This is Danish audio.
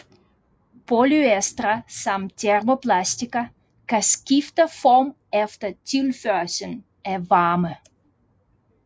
Polyestre som termoplastikker kan skifte form efter tilførslen af varme